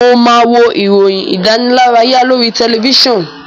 Mo máa wo ìròyìn ìdánilárayá lórí tẹlifíṣàn.